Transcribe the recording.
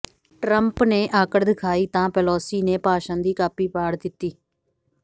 Trump ਨੇ ਆਕੜ ਦਿਖਾਈ ਤਾਂ ਪੇਲੋਸੀ ਨੇ ਭਾਸ਼ਣ ਦੀ ਕਾਪੀ ਪਾੜ ਦਿੱਤੀ